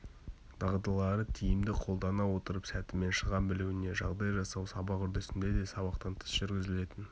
дағдылары тиімді қолдана отырып сәтімен шыға білуіне жағдай жасау сабақ үрдісінде де сабақтан тыс жүргізілетін